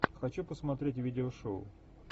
хочу посмотреть видео шоу